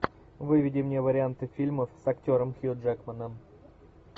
выведи мне варианты фильмов с актером хью джекманом